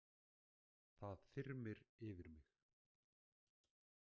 Það þyrmir yfir mig.